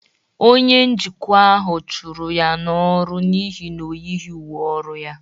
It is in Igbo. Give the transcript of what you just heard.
Onye njikwa ahụ chụrụ ya n'ọrụ n'ihi na o yighị uwe ọrụ ya.